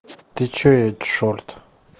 ты что я чёрт